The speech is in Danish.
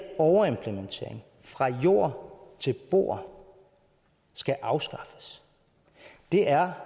overimplementering fra jord til bord skal afskaffes det er